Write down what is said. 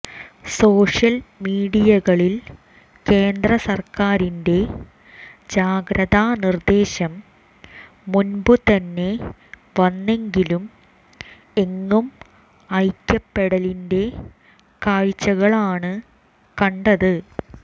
social മീഡിയകളിൽ കേന്ദ്ര സർക്കാരിന്റെ ജാഗ്രതാ നിർദ്ദേശം മുൻപ് തന്നെ വന്നെങ്കിലും എങ്ങും ഐക്യപ്പെടലിന്റെ കാഴ്ചകളാണ് കണ്ടത്